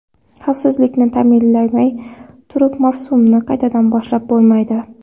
Xavfsizlikni ta’minalamay turib mavsumni qaytadan boshlab bo‘lmaydi.